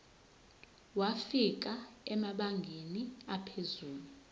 wafika emabangeni aphezulu